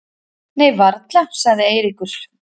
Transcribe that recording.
Nei varla sagði Eiríkur.